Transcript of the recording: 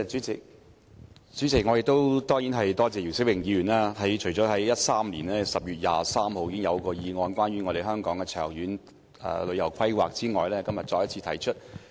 主席，我當然要多謝姚思榮議員，他除了在2013年10月23日提出一項關於香港旅遊業長遠規劃的議案之外，今天再次提出議案。